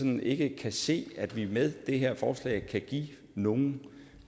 man ikke kan se at vi med det her forslag kan give nogle